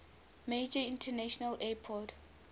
major international airport